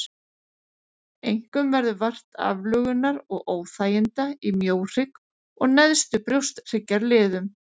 Einkum verður vart aflögunar og óþæginda í mjóhrygg og neðstu brjósthryggjarliðum.